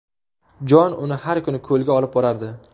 Jon uni har kuni ko‘lga olib borardi.